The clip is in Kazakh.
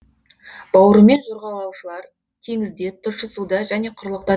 бауырымен жорғалаушылар теңізде тұщы суда және құрлықта